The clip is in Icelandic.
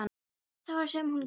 Það var það sem hún gerði.